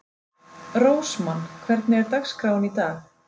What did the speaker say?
Rósmann, hvernig er dagskráin í dag?